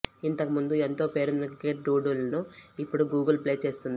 ఇంతకుముందు ఎంతో పేరొందిన క్రికెట్ డూడుల్ ను ఇప్పుడు గూగుల్ ప్లే చేస్తుంది